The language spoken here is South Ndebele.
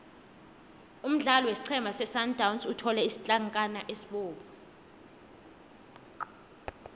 umdlali wesiqhema sesundowns uthole isitlankana esibovu